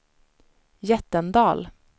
Jättendal